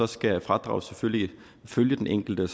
skal fradraget selvfølgelig følge den enkelte